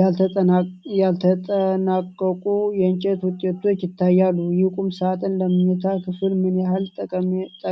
ያልተጠናቀቁ የእንጨት ውጤቶች ይታያሉ። ይህ ቁምሳጥን ለመኝታ ክፍል ምን ያህል ጠቃሚ ነው?